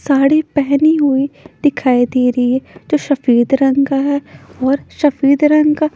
साड़ी पहनी हुई दिखाई दे रही है जो शफेद रंग का है और शफेद रंग का--